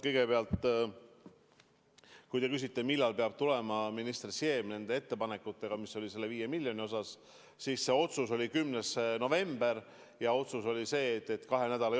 Kõigepealt, kui te küsite, millal peab tulema minister Siem ettepanekutega selle 5 miljoni kohta, siis otsus tehti 10. novembril ja siis oli aega kaks nädalat.